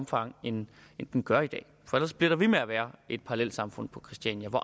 grad end den gør i dag for ellers bliver der ved med at være et parallelsamfund på christiania hvor